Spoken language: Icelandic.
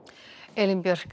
Elín Björk